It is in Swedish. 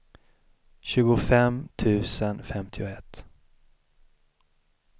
tjugofem tusen femtioett